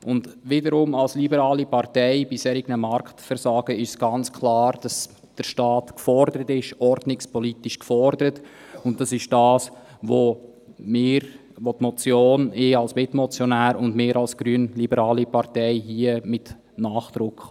Wiederum als liberale Partei ist bei solchen Marktversagen für uns ganz klar, dass der Staat ordnungspolitisch gefordert ist, und dies wollen die Motion, ich als Mitmotionär und auch wir als grünliberale Partei hier mit Nachdruck.